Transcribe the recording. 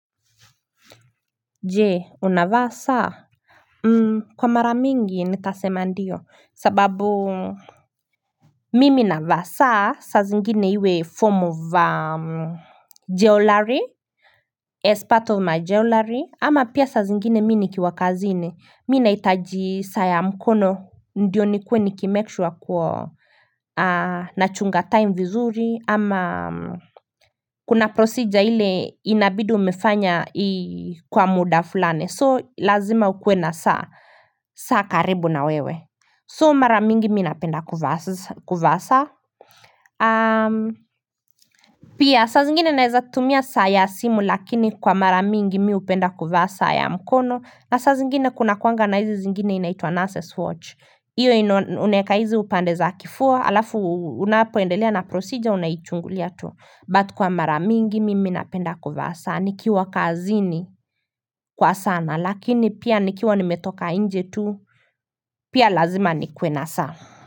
Je unavaa saa Kwa mara mingi nitasema ndiyo sababu Mimi navaa saa saa zingine iwe form of Jewelry as part of my jewelry ama pia saa zingine mimi nikiwa kazini mimi nahitaji saa mkono ndiyo nikuwe nikimekishwa kuwa nachunga time vizuri ama Kuna procedure ile inabid umefanya kwa muda fulani So lazima ukue na saa saa karibu na wewe So mara mingi mimi napenda kuvaa saa Pia saa zingine naeza tumia saa ya simu Lakini kwa mara mingi mimi hupenda kuvaa saa ya mkono na saa zingine kuna kunakuanga na hizi zingine inaitwa Nurses Watch hiyo unaeka hizi upande za kifua Alafu unapoendelea na procedure unaichungulia tu But kwa mara mingi mimi napenda kuvaa sana, nikiwa kazini kwa sana, lakini pia nikiwa nimetoka nje tu, pia lazima nikuwe na saa.